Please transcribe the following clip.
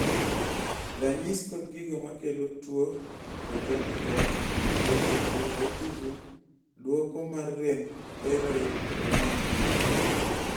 ranyis kod gigo makelo tuo congenital hypothyroidism duoko mar rem thyroid hormones